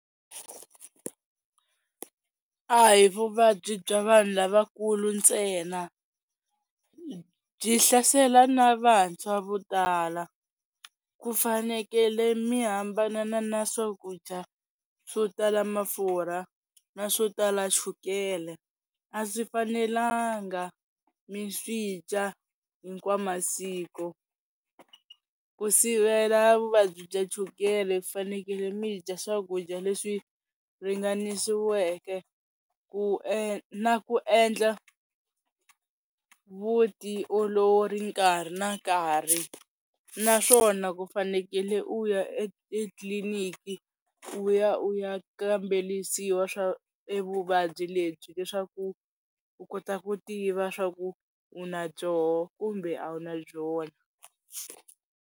A hi vuvabyi bya vanhu lavakulu ntsena, byi hlasela na vantshwa vo tala ku fanekele mi hambanana na swakudya swo tala mafurha na swo tala chukele a swi fanelanga mi swi dya hinkwa masiko, ku sivela vuvabyi bya chukele fanekele mi dya swakudya leswi ringanisiweke ku na ku endla vutiolori nkarhi na nkarhi, naswona ku fanekele u ya etliliniki u ya u ya kambelisiwa swa evuvabyi lebyi leswaku u kota ku tiva swa ku u na byoho kumbe a wu na byona.